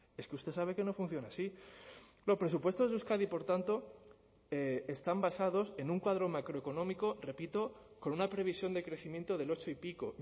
es que usted sabe que no funciona así los presupuestos de euskadi por tanto están basados en un cuadro macroeconómico repito con una previsión de crecimiento del ocho y pico